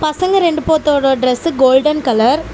பசங்க இரண்டு போதோட டிரஸ்சு கோல்டன் கலர் .